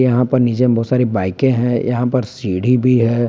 यहीं पर नीचे में बहुत सारे बाईकें हैं यहां पे सीढ़ी भी है।